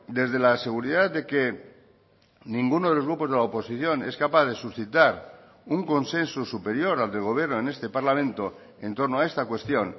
desde la seguridad de que ninguno de los grupos de la oposición es capaz de suscitar un consenso superior al del gobierno en este parlamento en torno a esta cuestión